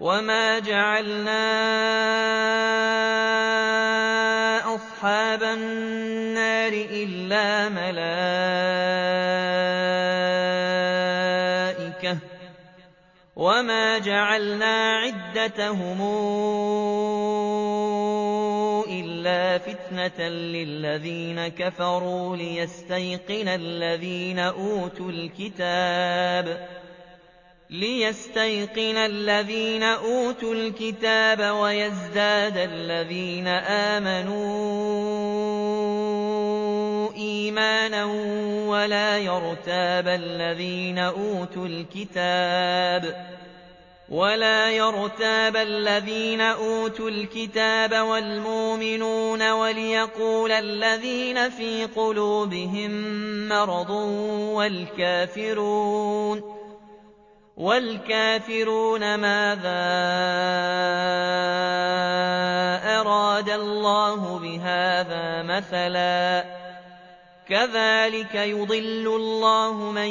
وَمَا جَعَلْنَا أَصْحَابَ النَّارِ إِلَّا مَلَائِكَةً ۙ وَمَا جَعَلْنَا عِدَّتَهُمْ إِلَّا فِتْنَةً لِّلَّذِينَ كَفَرُوا لِيَسْتَيْقِنَ الَّذِينَ أُوتُوا الْكِتَابَ وَيَزْدَادَ الَّذِينَ آمَنُوا إِيمَانًا ۙ وَلَا يَرْتَابَ الَّذِينَ أُوتُوا الْكِتَابَ وَالْمُؤْمِنُونَ ۙ وَلِيَقُولَ الَّذِينَ فِي قُلُوبِهِم مَّرَضٌ وَالْكَافِرُونَ مَاذَا أَرَادَ اللَّهُ بِهَٰذَا مَثَلًا ۚ كَذَٰلِكَ يُضِلُّ اللَّهُ مَن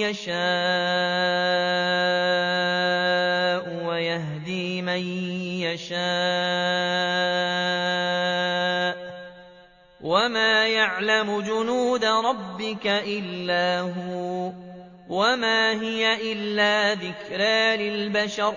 يَشَاءُ وَيَهْدِي مَن يَشَاءُ ۚ وَمَا يَعْلَمُ جُنُودَ رَبِّكَ إِلَّا هُوَ ۚ وَمَا هِيَ إِلَّا ذِكْرَىٰ لِلْبَشَرِ